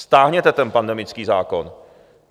Stáhněte ten pandemický zákon.